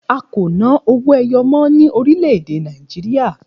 A kò ná owó ẹyọ mọ́ ní orílẹ̀ èdè Nàìjíríà